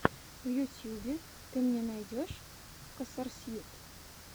в ютьюбе ты мне найдешь косарсьют